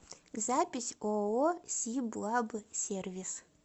запись ооо сиблабсервис